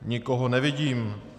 Nikoho nevidím.